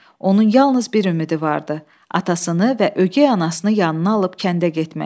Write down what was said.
Onun yalnız bir ümidi vardı, atasını və ögey anasını yanına alıb kəndə getmək.